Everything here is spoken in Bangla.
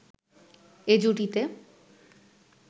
এ জুটিতে